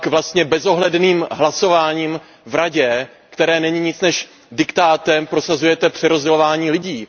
Pak vlastně bezohledným hlasováním v Radě, které není nic než diktát, prosazujete přerozdělování lidí.